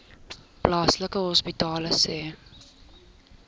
plaaslike hospitale sê